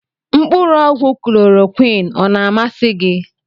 Mkpụrụ ọgwụ klọrọquin ọ na amasị gị?